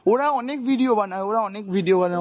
ওরা অনেক video বানায়, ওরা অনেক video বানায়